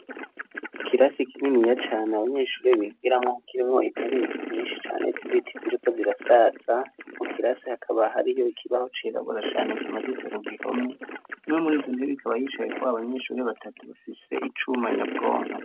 Ikirasi kininiya cane abanyeshure bigiramwo kirimwo intebe nyinshi cane z'ibiti ziriko zirasaza mu kirasi hakaba hariyo ikibaho cirabura cane kimaditse ku gihome kimwe muri izo ntebe ikaba yicayeko abanyeshure batatu bafise icuma nyabwonko.